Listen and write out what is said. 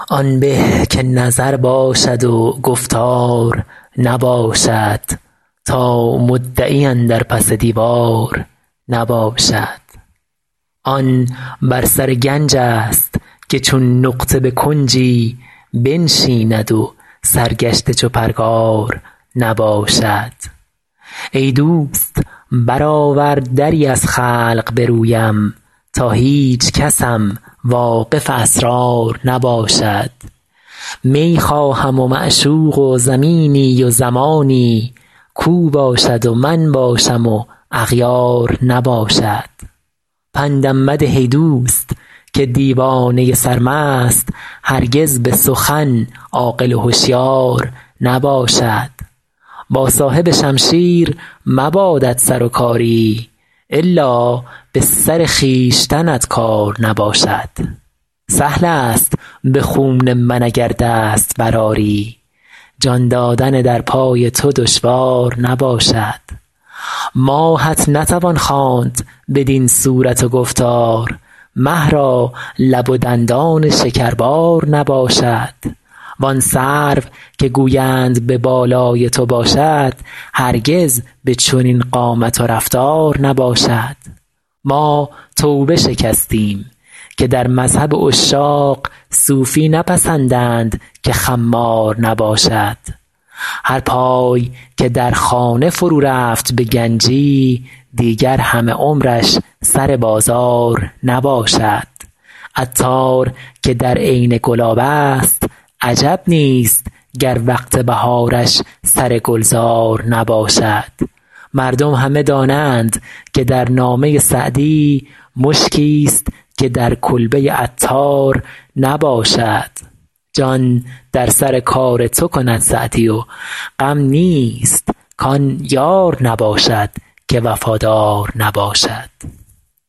آن به که نظر باشد و گفتار نباشد تا مدعی اندر پس دیوار نباشد آن بر سر گنج ست که چون نقطه به کنجی بنشیند و سرگشته چو پرگار نباشد ای دوست برآور دری از خلق به رویم تا هیچکسم واقف اسرار نباشد می خواهم و معشوق و زمینی و زمانی کاو باشد و من باشم و اغیار نباشد پندم مده ای دوست که دیوانه سرمست هرگز به سخن عاقل و هشیار نباشد با صاحب شمشیر مبادت سر و کاری الا به سر خویشتنت کار نباشد سهل است به خون من اگر دست برآری جان دادن در پای تو دشوار نباشد ماهت نتوان خواند بدین صورت و گفتار مه را لب و دندان شکربار نباشد وان سرو که گویند به بالای تو باشد هرگز به چنین قامت و رفتار نباشد ما توبه شکستیم که در مذهب عشاق صوفی نپسندند که خمار نباشد هر پای که در خانه فرو رفت به گنجی دیگر همه عمرش سر بازار نباشد عطار که در عین گلاب است عجب نیست گر وقت بهارش سر گلزار نباشد مردم همه دانند که در نامه سعدی مشکیست که در کلبه عطار نباشد جان در سر کار تو کند سعدی و غم نیست کان یار نباشد که وفادار نباشد